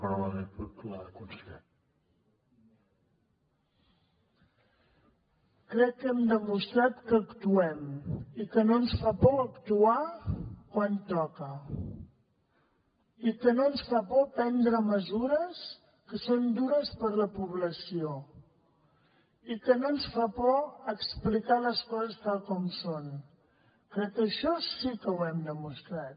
crec que hem demostrat que actuem i que no ens fa por actuar quan toca i que no ens fa por prendre mesures que són dures per a la població i que no ens fa por explicar les coses tal com són crec que això sí que ho hem demostrat